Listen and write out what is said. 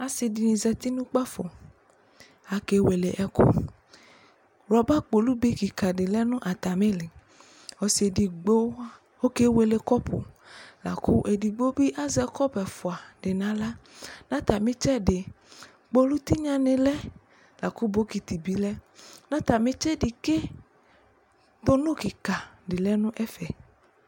Ase de ne zatino kpafq ake wele ɔku Rɔba kolube kika lɛ no atame leƆse edigno ɔke wele kɔpu la ko edjgbo be azɛ kɔpu nahla ka atame tsɛde kpolu tenya ne lɛ la ko bokiti be lɛ Na atame tsɛse ke tonu kika de lɛ nɛfɛ